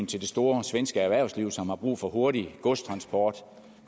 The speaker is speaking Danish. til det store svenske erhvervsliv som har brug for hurtig godstransport